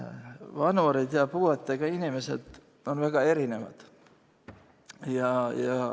Vanureid ja puuetega inimesi on väga erinevad.